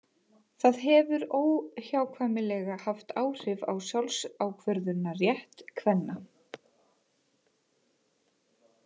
Það hefur óhjákvæmilega haft áhrif á sjálfsákvörðunarrétt kvenna.